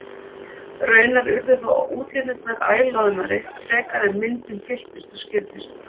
Raunar urðu þó útlínurnar æ loðnari frekar en myndin fylltist og skýrðist.